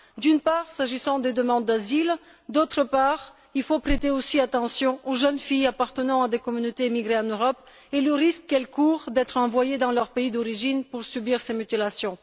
D'une part, s'agissant des demandes d'asile et d'autre part, parce qu'il faut aussi prêter attention aux jeunes filles appartenant à des communautés émigrées en Europe et au risque qu'elles courent d'être envoyées dans leur pays d'origine pour subir ces mutilations.